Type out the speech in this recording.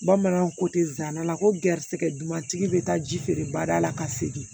Bamananw ko ten zana la ko garisigɛ dumantigi bɛ taa ji feere bada la ka segin